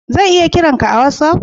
Zan lya kira ka a'wassap?